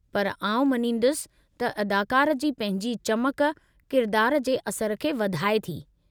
पर आउं मञींदुसि त अदाकारु जी पंहिंजी चमक किरदार जे असर खे वधाए थी।